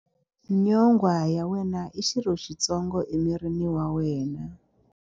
Nyonghwa ya wena i xirho xitsongo emirini wa wena.